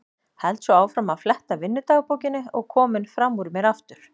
Held svo áfram að fletta vinnudagbókinni og kominn fram úr mér aftur.